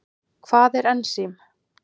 Hvað er ensím?